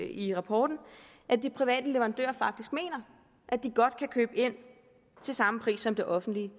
i rapporten at de private leverandører faktisk mener at de godt kan købe ind til samme pris som det offentlige